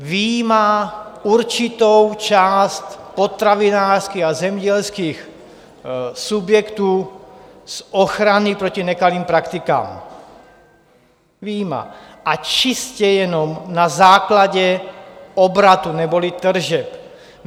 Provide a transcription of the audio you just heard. Vyjímá určitou část potravinářských a zemědělských subjektů z ochrany proti nekalým praktikám, vyjímá, a čistě jenom na základě obratu neboli tržeb.